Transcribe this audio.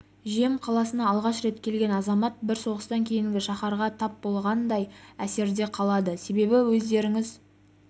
жем қаласына алғаш рет келген азамат бір соғыстан кейінгі шаһарға тап болғандай әсерде қалады себебі өздеріңіз